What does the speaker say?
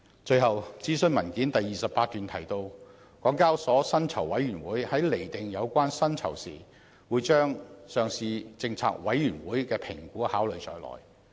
最後，諮詢文件第28段提到，港交所薪酬委員會在釐定有關薪酬時，會把上市政策委員會的評估考慮在內。